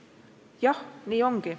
Jah, nii ongi.